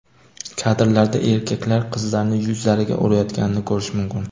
Kadrlarda erkaklar qizlarning yuzlariga urayotganini ko‘rish mumkin.